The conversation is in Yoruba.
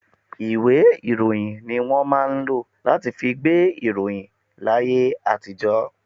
Ìwé ìròyìn ni wọn máa ń lọ láti fí gbé ìròyìn láyé àtijó.